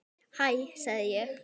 Hæ sagði ég.